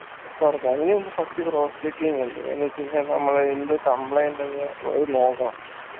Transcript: തുറക്കും അതിനു മുമ്പ് cross checking ഇണ്ട് എന്നെച്ചെയ്‌നാൽ മ്മളെ എന്ത് complaint ന്ന് നോക്കണം